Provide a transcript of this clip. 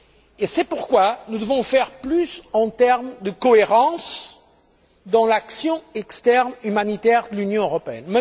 Et c'est pourquoi nous devons faire plus en termes de cohérence dans l'action externe humanitaire de l'Union européenne.